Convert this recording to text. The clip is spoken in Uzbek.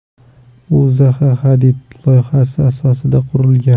U Zaha Hadid loyihasi asosida qurilgan.